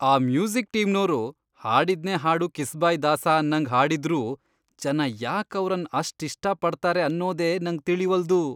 ಆ ಮ್ಯೂಸಿಕ್ ಟೀಮ್ನೋರು ಹಾಡಿದ್ನೇ ಹಾಡು ಕಿಸ್ಬಾಯ್ ದಾಸ ಅನ್ನಂಗ್ ಹಾಡಿದ್ರೂ ಜನ ಯಾಕ್ ಅವ್ರನ್ ಅಷ್ಟಿಷ್ಟ ಪಡ್ತಾರೆ ಅನ್ನೋದೆ ನಂಗ್ ತಿಳಿವಲ್ದು.